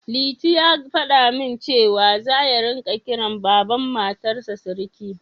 Liti ya faɗa min cewa, za ya ringa kiran Baban Matarsa Siriki